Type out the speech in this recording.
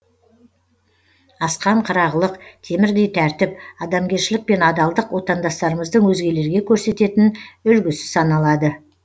асқан қырағылық темірдей тәртіп адамгершілік пен адалдық отандастарымыздың өзгелерге көрсететін үлгісі саналады